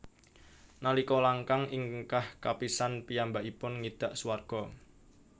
Nalika langkang ingkah kapisan piyambakipun ngidak swarga